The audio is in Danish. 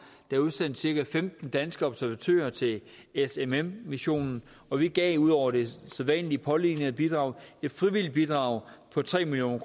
er udsendt cirka femten danske observatører til smm missionen og vi gav ud over det sædvanlige pålignede bidrag et frivilligt bidrag på tre million